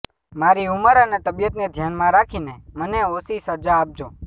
મારી ઉંમર અને તબિયતને ધ્યાનમાં રાખીને મને ઓછી સજા આપજો